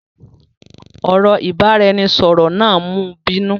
Ọ̀rọ̀ ìbáraẹnisọọ̀rọ̀ náà mú bínú.